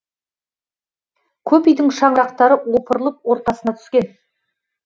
көп үйдің шаңырақтары опырылып ортасына түскен